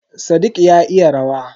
Sadiq ya iya rawa.